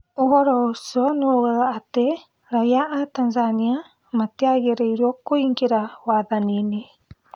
ũhoro ũcio nĩwaugaga atĩ raia a Tanzania matĩagĩrĩirio kũingĩra wathani-inĩ